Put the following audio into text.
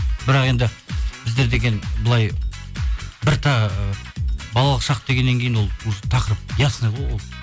бірақ енді біздер деген былай балалық шақ дегеннен кейін ол уже тақырып ясный ғой ол